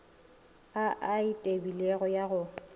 a a tebilego ya go